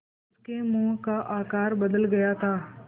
उसके मुँह का आकार बदल गया था